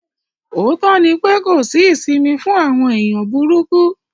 Òótọ́ ni pé kò sí isìmì fún àwọn èèyàn búrúkú.